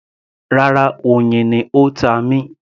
Rárá, oyin ni ó ta mí